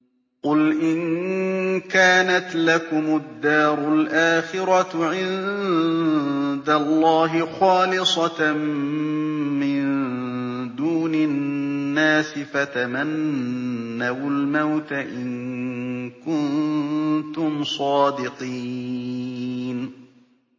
قُلْ إِن كَانَتْ لَكُمُ الدَّارُ الْآخِرَةُ عِندَ اللَّهِ خَالِصَةً مِّن دُونِ النَّاسِ فَتَمَنَّوُا الْمَوْتَ إِن كُنتُمْ صَادِقِينَ